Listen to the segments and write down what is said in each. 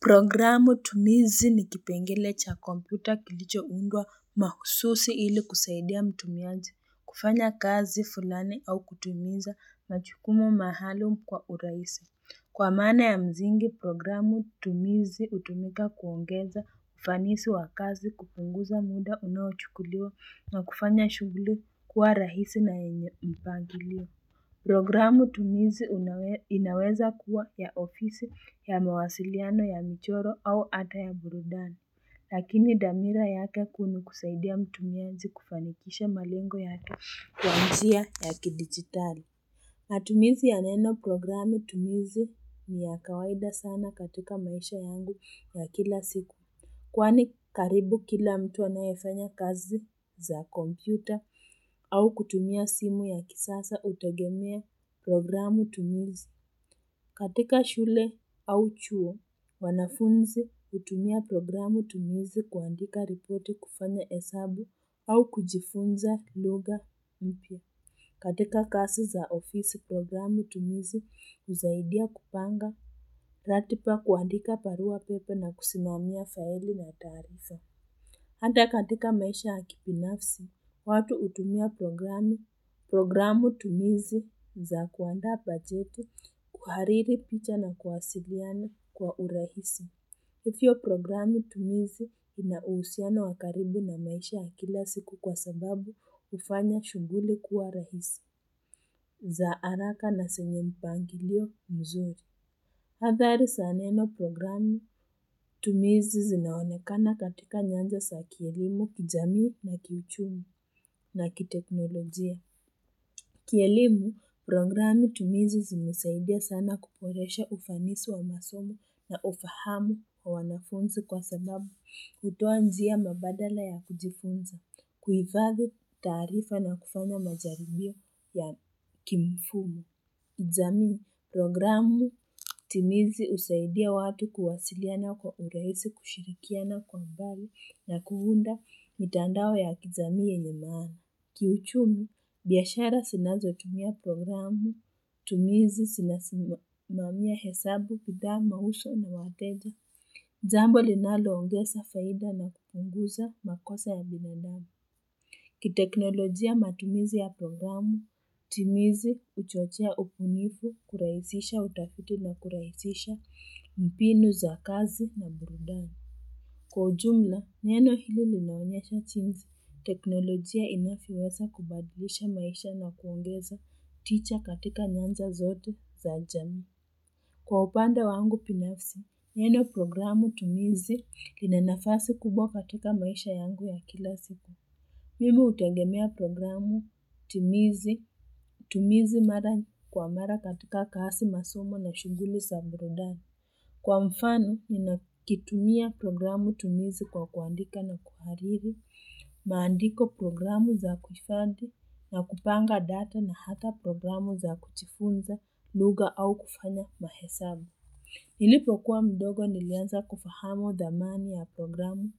Programu tumizi ni kipengele cha kompyuta kilicho undwa mahususi ili kusaidia mtumiaji, kufanya kazi fulani au kutumiza majukumu maalumu kwa urahisi. Kwa mana ya msingi, programu tumizi utumika kuongeza ufanisi wa kazi kupunguza muda unao chukuliwa na kufanya shughuli kuwa rahisi na yenye mpangilio. Programu tumizi inaweza kuwa ya ofisi ya mawasiliano ya michoro au hata ya burudani, lakini dhamira yake kuu ni kusaidia mtumiaji kufanikisha malengo yake kwanjia ya kidigitali. Matumizi ya neno programu tumizi ni ya kawaida sana katika maisha yangu ya kila siku. Kwani karibu kila mtu anayefanya kazi za kompyuta au kutumia simu ya kisasa utegemea programu tumizi. Katika shule au chuo, wanafunzi hutumia programu tumizi kuandika ripoti kufanya hesabu au kujifunza lugha mpya. Katika kazi za ofisi programu tumizi usaidia kupanga ratiba kuandika barua pepe na kusimamia faili na taharifa. Hata katika maisha ya kibinafsi, watu utumia programu, programu tumizi za kuandaa bajeti kuhariri picha na kuwasiliana kwa urahisi. Hivyo programu tumizi ina uhusiano wakaribu na maisha ya kila siku kwa sababu ufanya shughuli kuwa rahisi za haraka na zenye mpangilio mzuri. Athari za neno programu tumizi zinaonekana katika nyanza za kielimu kijamii na kiuchumi na kiteknolojia. Kielimu programu tumizi zimesaidia sana kuboresha ufanisi wa masomo na ufahamu wa wanafunzi kwa sababu hutoa njia mbadala ya kujifunza, kuhifadhi taarifa na kufanya majaribio ya kimfumo. Kijamii programu tumizi usaidia watu kuwasiliana kwa urahisi kushirikiana kwa mbali na kuunda mitandao ya kijamii yenye maana. Kiuchumi, biashara zinazo tumia programu, tumizi zinasimamia hesabu kudama mauzo na wateja. Jambo linalo ongeza faida na kupunguza makosa ya binadamu. Kiteknolojia matumizi ya programu, tumizi uchochea ubunifu, kurahisisha utafiti na kurahisisha mbinu za kazi na burudani. Kwa ujumla, neno hili linaonyesha jinsi, teknolojia inavyoweza kubadilisha maisha na kuongeza tija katika nyanza zote za jamii. Kwa upande wangu binafsi, neno programu tumizi lina nafasi kubwa katika maisha yangu ya kila siku. Mimi hutegemea programu tumizi, tumizi mara kwa mara katika kazi masomo na shughuli za burudani. Kwa mfano, ninakitumia programu tumizi kwa kuandika na kuhariri, maandiko programu za kuhifadhi na kupanga data na hata programu za kujifunza, lugha au kufanya mahesabu. Nilipo kuwa mdogo nilianza kufahamu thamani ya programu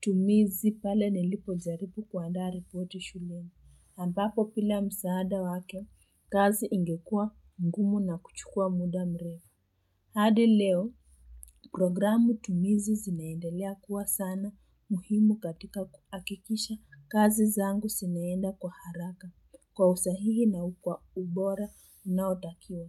tumizi pale nilipo jaribu kuandaa ripoti shuleni. Ampapo bila msaada wake, kazi ingekuwa ngumu na kuchukua muda mrefu. Hadi leo, programu tumizi zinaendelea kuwa sana muhimu katika kuhakikisha kazi zangu zinaenda kwa haraka kwa usahihi na kwa ubora na unaotakiwa.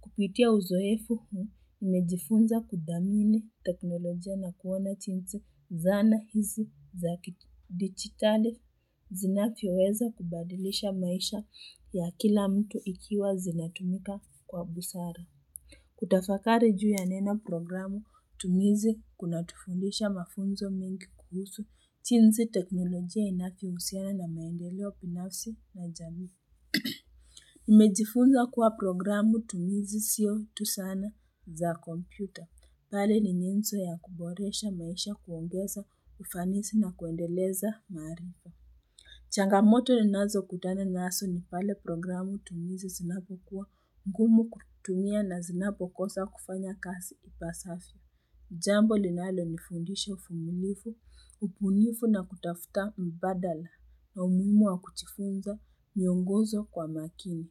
Kupitia uzoefu huu, nimejifunza kuthamini teknolojia na kuona jinsi zana hizi za kidigitali zinavyo weza kubadilisha maisha ya kila mtu ikiwa zinatumika kwa busara. Kutafakari juu ya neno programu, tumizi kuna tufundisha mafunzo mengi kuhusu jinsi teknolojia inavyo husiana na maendeleo binafsi na jamii. Nimejifunza kuwa programu tumizi sio tu zana za kompyuta bali ni nyenzo ya kuboresha maisha kuongeza ufanisi na kuendeleza maarifa Changamoto ninazo kutana nazo ni pale programu tumizi zinapo kuwa ngumu kutumia na zinapokosa kufanya kazi ipasavyo Jambo linalo nifundisha uvumilivu, ubunifu na kutafuta mbadala na umuhimu wa kujifunza, miongozo kwa makini.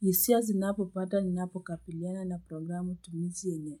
Hisia zinapo pata ni napo kabiliana na programu tumizi yenye.